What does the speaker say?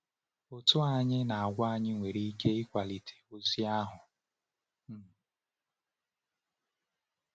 Ụ́tụ́ anyị na àgwà anyị nwere ike ịkwàlite ozi ahụ. um